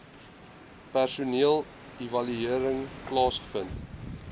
personeel evaluering plaasgevind